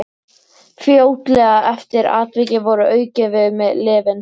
Fljótlega eftir atvikið voru aukin við mig lyfin.